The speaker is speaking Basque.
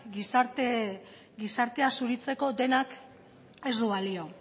gizartea zuritzeko denak ez du balio